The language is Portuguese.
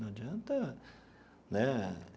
Não adianta, né?